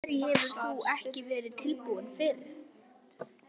Af hverju hefur þú ekki verið tilbúin fyrr?